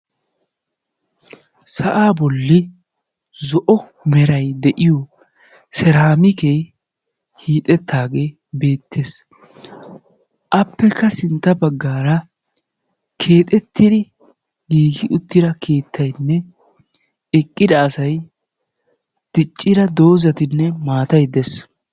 Sa'aa bolli zo'o merayi de'iyo seeraamikee hiixettaagee beettes. Appekka sintta baggaara keexettidi giigi uttida keettayinne eqqida asayi diccida doozati me maatayi de'es.